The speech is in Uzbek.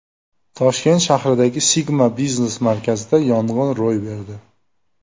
Toshkent shahridagi Sigma biznes-markazida yong‘in ro‘y berdi .